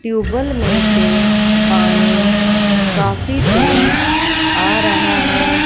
Tubal में से पानी काफी तेज आ रहा है।